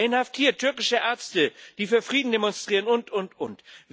Er inhaftiert türkische Ärzte, die für Frieden demonstrieren, und, und, und.